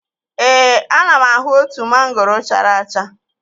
Ee, ana m ahụ otu mangoro chara acha